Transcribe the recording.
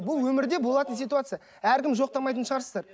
бұл өмірде болатын ситуация әркім жоқтамайтын шығарсыздар